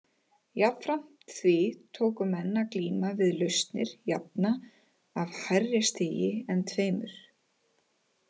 Jafnframt því tóku menn að glíma við lausnir jafna af hærri stigi en tveimur.